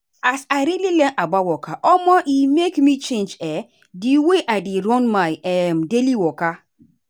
as i really learn about waka omo e make me change um the way i dey run my um daily waka.